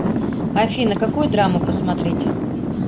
афина какую драму посмотреть